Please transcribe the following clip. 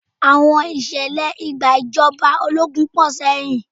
Àwọn Ìṣẹ̀lẹ̀ ìgbàjọba ológun pọ̀ sẹ́yìn